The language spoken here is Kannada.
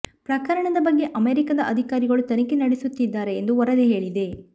ಪ್ರಕರಣದ ಬಗ್ಗೆ ಅಮೆರಿಕದ ಅಧಿಕಾರಿಗಳು ತನಿಖೆ ನಡೆಸುತ್ತಿದ್ದಾರೆ ಎಂದು ವರದಿ ಹೇಳಿದೆ